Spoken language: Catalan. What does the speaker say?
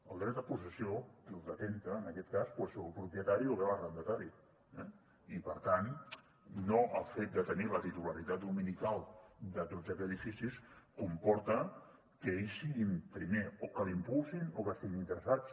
el dret a possessió qui el detenta en aquest cas doncs és el propietari o bé l’arrendatari eh i per tant no el fet de tenir la titularitat dominical de tots aquests edificis comporta que ells siguin primer o que l’impulsin o que hi estiguin interessats